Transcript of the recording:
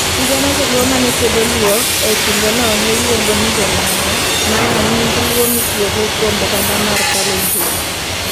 Sigana Jo Luo ma ne kwedo Luo e kindeno ne iluongo ni jo Lang'o, ma en nying Luo mitiyogo kuom oganda mar Kalenjin.